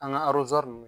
An ka ninnu